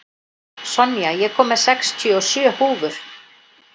Sonja, ég kom með sextíu og sjö húfur!